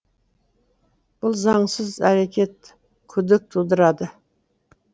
бұл заңсыз әрекет күдік тудырады